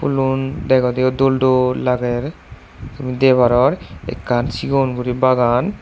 pulun degodeyo dol dol lager deparor ekkan sigon guri bagan.